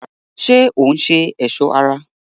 ṣé òún ṣe ẹ̀sọ́ ara?